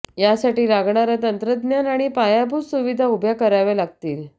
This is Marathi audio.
यासाठी लागणारं तंत्रज्ञान आणि पायाभूत सुविधा उभ्या कराव्या लागतील